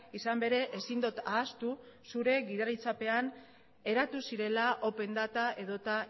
izan bere ezin dut ahaztu zure gidaritzapean eratu zirela open data edota